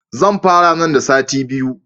Zan fara nan da sati biyu.